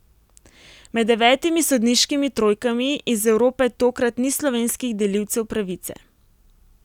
Med devetimi sodniškimi trojkami iz Evrope tokrat ni slovenskih delivcev pravice.